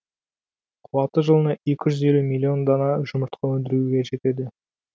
қуаты жылына екі жүз елу миллион дана жұмыртқа өндіруге жетеді